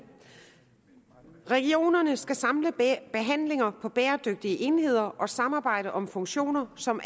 regionerne skal samle behandlinger på bæredygtige enheder og samarbejde om funktioner som